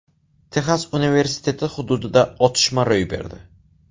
Texas universiteti hududida otishma ro‘y berdi.